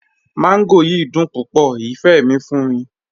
Mangò yiì dùn púpọ̀, ifẹ́ mi fún mi.